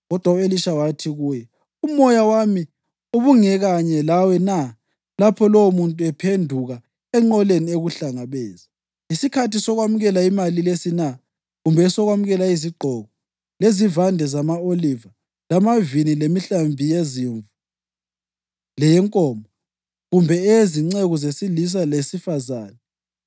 Kodwa u-Elisha wathi kuye, “Umoya wami ubungekanye lawe na lapho lowomuntu ephenduka enqoleni ekuhlangabeza? Yisikhathi sokwamukela imali lesi na, kumbe esokwamukela izigqoko, lezivande zama-oliva, lamavini lemihlambi yezimvu, leyenkomo, kumbe eyezinceku zesilisa lesifazane?